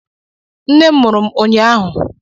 Nne m mụrụ ụnyahụ